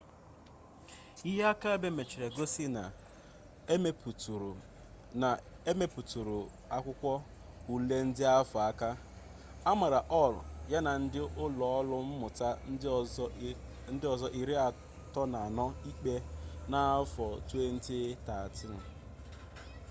ihe akaebe mechara gosi na emetụrụ akwụkwọ ule ndị ahụ aka a mara hall ya na ndị ụlọ ọrụ mmụta ndị ọzọ 34 ikpe na 2013